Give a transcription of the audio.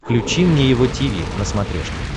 включи мне его тиви на смотрешке